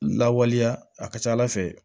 Lawaleya a ka ca ala fɛ